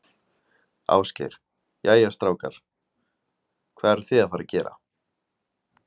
Ásgeir: Jæja, strákar, hvað eruð þið að fara að gera?